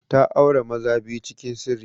Ta aure maza biyu cikin sirri.